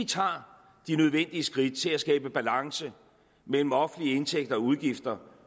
tager de nødvendige skridt til at skabe balance mellem offentlige indtægter og udgifter